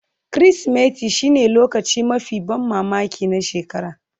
Kirsimeti shine lokacin mafi ban mamaki na shekara